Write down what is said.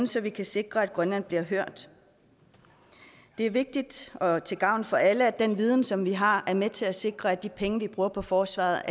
så vi kan sikre at grønland bliver hørt det er vigtigt og til gavn for alle at den viden som vi har er med til at sikre at de penge vi bruger på forsvaret